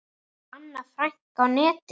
Anna Frank á netinu.